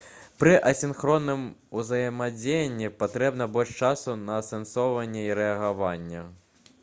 пры асінхронным узаемадзеянні патрэбна больш часу на асэнсаванне і рэагаванне